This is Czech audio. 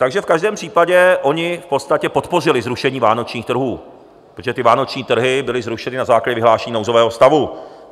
Takže v každém případě oni v podstatě podpořili zrušení vánočních trhů, protože ty vánoční trhy byly zrušeny na základě vyhlášení nouzového stavu.